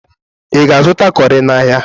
Ị ga-azụta cọrị n'ahịa?